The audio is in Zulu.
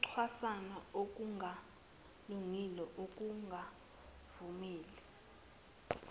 ukucwasana okungalungile ukungavumeli